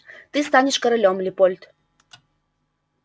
ты станешь королём лепольд